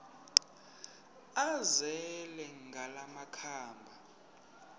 azele ngala makhaba